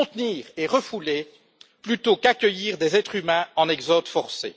Contenir et refouler plutôt qu'accueillir des êtres humains en exode forcé.